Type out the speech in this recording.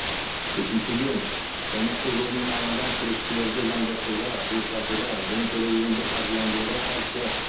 үшіншіден қылмыстық жолмен алынған кірістерді заңдастыруға жылыстатуға және терроризмді қаржыландыруға қарсы